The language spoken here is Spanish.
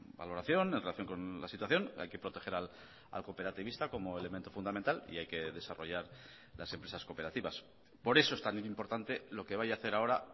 valoración en relación con la situación hay que proteger al cooperativista como elemento fundamental y hay que desarrollar las empresas cooperativas por eso es tan importante lo que vaya a hacer ahora